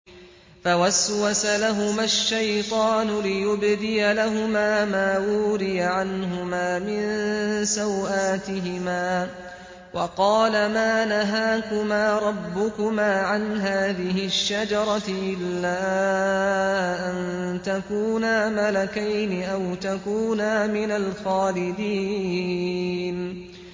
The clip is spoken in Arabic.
فَوَسْوَسَ لَهُمَا الشَّيْطَانُ لِيُبْدِيَ لَهُمَا مَا وُورِيَ عَنْهُمَا مِن سَوْآتِهِمَا وَقَالَ مَا نَهَاكُمَا رَبُّكُمَا عَنْ هَٰذِهِ الشَّجَرَةِ إِلَّا أَن تَكُونَا مَلَكَيْنِ أَوْ تَكُونَا مِنَ الْخَالِدِينَ